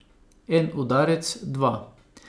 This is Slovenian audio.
En udarec, dva.